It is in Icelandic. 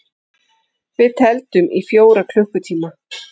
Við tefldum í fjóra klukkutíma!